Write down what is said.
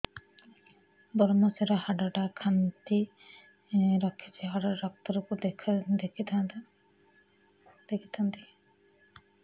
ଵ୍ରମଶିର ହାଡ଼ ଟା ଖାନ୍ଚି ରଖିଛି ହାଡ଼ ଡାକ୍ତର କୁ ଦେଖିଥାନ୍ତି